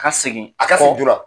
K'a segin a ka segin kɔ joona.